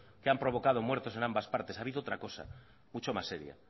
que han provocado muertos en ambas partes ha habido otra cosa mucho más seria